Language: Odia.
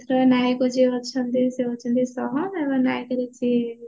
ନାୟକ ଯୋଉ ଅଛନ୍ତି ସେ ହଉଛନ୍ତି ଏବଂ ନାୟିକା ହଉଛି